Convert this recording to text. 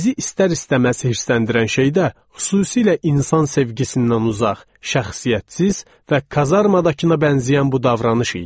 Bizi istər-istəməz hirsləndirən şey də, xüsusilə insan sevgisindən uzaq, şəxsiyyətsiz və kazarmadakına bənzəyən bu davranış idi.